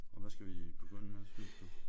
Og hvad skal vi begynde med synes du?